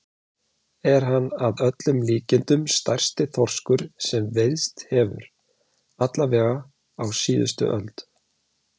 Er hann að öllum líkindum stærsti þorskur sem veiðst hefur, alla vega á síðustu öld.